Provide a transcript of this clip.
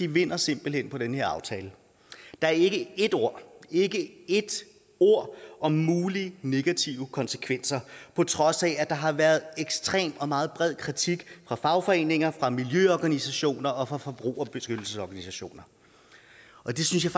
vinder simpelt hen på den her aftale der er ikke et ord ikke ét ord om mulige negative konsekvenser på trods af at der har været ekstrem og meget bred kritik fra fagforeninger fra miljøorganisationer og fra forbrugerbeskyttelsesorganisationer og det synes jeg